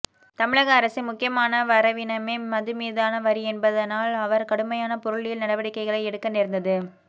தமிழக அரசின் முக்கியமான வரவினமே மதுமீதான வரி என்பதனால் அவர் கடுமையான பொருளியல் நடவடிக்கைகளை எடுக்க நேர்ந்தது